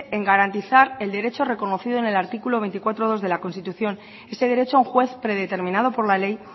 en garantizar el derecho reconocido en el artículo veinticuatro punto dos de la constitución ese derecho a un juez predeterminado por la ley